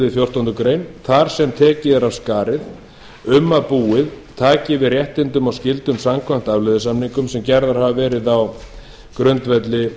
við fjórtándu greinar þar sem tekið sé af skarið um að búið taki við réttindum og skyldum samkvæmt afleiðusamningum sem gerðir hafa verið á grundvelli